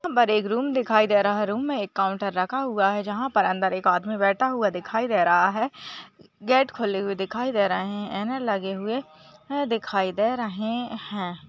Room दिखाई दे रहा है रूम मे एक काउंटर रखा हुआ है जहा पर अंदर एकआदमी बैठा हुआ दिखाई दे रहा है गेट खुली हुई दिखाई दे रही है एने लगे हुए ये दिखाई दे रहे है।